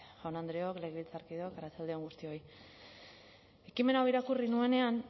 jaun andreok legebiltzarkideok arratsalde on guztioi ekimen hau irakurri nuenean